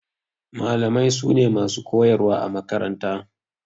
Malamai su ne masu koyarwa a makaranta.